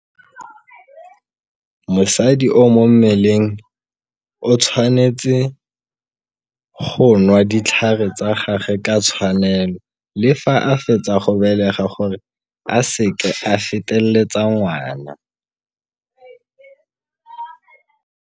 Mosadi o mo mmeleng o tshwanetse go nwa ditlhare tsa gage ka tshwanelo le fa a fetsa go belega gore a se ke a feteletsa ngwana.